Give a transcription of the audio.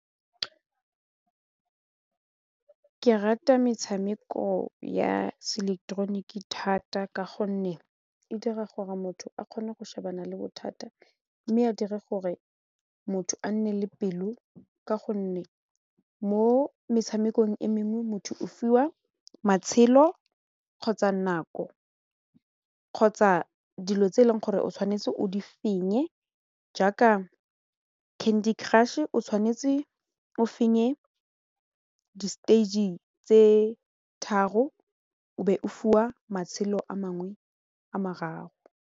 Ke rata metshameko ya se ileketeroniki thata ka gonne e dira gore motho a kgone go shebana le bothata mme a dira gore motho a nne le pelo ka gonne mo metshamekong e mengwe motho o fiwa matshelo kgotsa nako kgotsa dilo tse e leng gore o tshwanetse o di fenye jaaka candy crush o tshwanetse o fenye di-stage tse tharo o be o fiwa matshelo a mangwe a mararo.